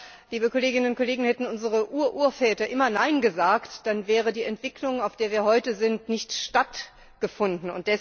Aber, liebe Kolleginnen und Kollegen, hätten unsere Ururväter immer Nein gesagt, dann hätte die Entwicklung bis dahin, wo wir heute sind, nicht stattgefunden.